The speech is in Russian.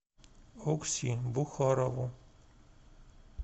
окси бухарову